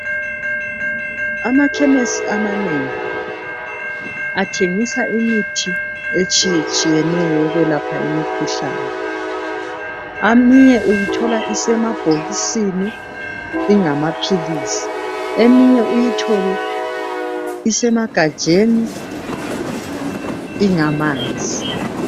Amakhemesi amanengi, athengisa imithi etshiyetshiyeneyo yokwelapha imikhuhlane. Eminye uyithola isemabhokisini ingamaphilisi, eminye uyithole isemagajeni ingamanzi.